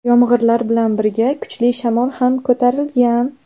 Yomg‘irlar bilan birga kuchli shamol ham ko‘tarilgan.